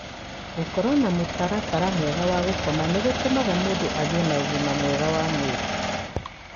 Gũkorũo na mũtaratara mwega wa gũkoma nĩ gũtũmaga mũndũ agĩe na ũgima mwega wa mwĩrĩ.